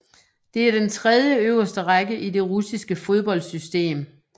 Det er den tredje øverste række i det russiske fodboldsystem